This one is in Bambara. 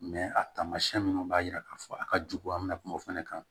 a taamasiyɛn minnu b'a jira k'a fɔ a ka jugu an mɛna kuma o fana kan